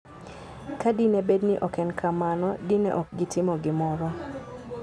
Ka dine bed ni ok en kamano, dine ok gitimo gimoro.